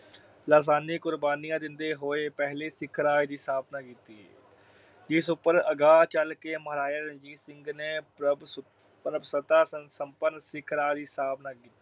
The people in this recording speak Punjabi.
ਲਾਸਾਨੀ ਕੁਰਬਾਨੀਆਂ ਦਿੰਦੇ ਹੋਏ ਪਹਿਲੇ ਸਿੱਖ ਰਾਜ ਦੀ ਸਥਾਪਨਾ ਕੀਤੀ। ਇਸ ਉਪਰ ਅਗਾਹ ਚਲ ਕੇ ਮਹਾਰਾਜਾ ਰਣਜੀਤ ਸਿੰਘ ਨੇ ਪ੍ਰਭੂਸੁਤਾ ਅਹ ਪ੍ਰਭੂਸੁਤਾ ਸੰਪਨ ਸਿੱਖ ਰਾਜ ਦੀ ਸਥਾਪਨਾ ਕੀਤੀ।